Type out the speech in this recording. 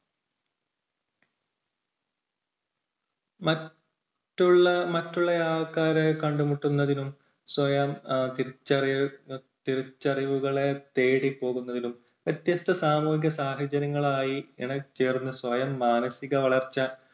മറ്റുള്ള മറ്റുള്ള ആൾക്കാരെ കണ്ടുമുട്ടുന്നതിനും സ്വയം എഹ് തിരിച്ചറിവു തിരിച്ചറിവുകളെ തേടി പോകുന്നതിലും വ്യത്യസ്തസാമൂഹിക സാഹചര്യങ്ങളായി ഇണങ്ങിച്ചേർന്ന സ്വയം മാനസിക വളർച്ച